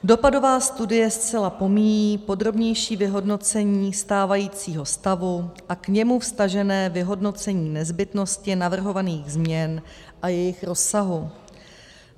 Dopadová studie zcela pomíjí podrobnější vyhodnocení stávajícího stavu a k němu vztažené vyhodnocení nezbytnosti navrhovaných změn a jejich rozsahu.